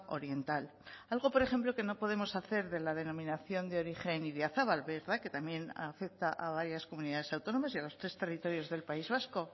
oriental algo por ejemplo que no podemos hacer de la denominación de origen idiazabal verdad que también afecta a varias comunidades autónomas y a los tres territorios del país vasco